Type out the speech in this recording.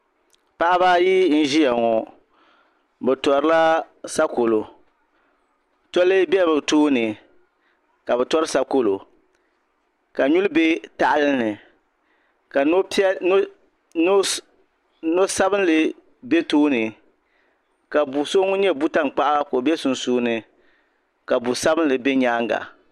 paɣ' ayi n ʒɛya ŋɔ bɛ tulaasakolu tuli bɛ be tooni ka be turi sakolu ka nuli bɛ tahili ka nu sabinli bɛ tooni ka bu so ŋɔ nyɛ butankpaɣigu bɛ sunsuuni ka bu sabilili bɛ nyɛŋa